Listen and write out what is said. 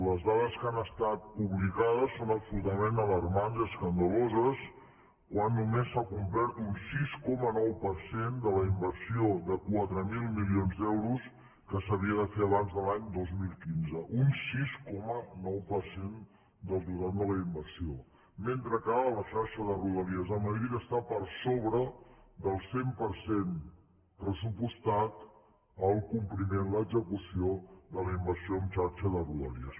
les dades que han estat publicades són absolutament alarmants i escandaloses quan només s’ha complert un sis coma nou per cent de la inversió de quatre mil milions d’euros que s’havia de fer abans de l’any dos mil quinze un sis coma nou per cent del total de la inversió mentre que a la xarxa de rodalies de madrid està per sobre del cent per cent pressupostat el compliment l’execució de la inversió en xarxa de rodalies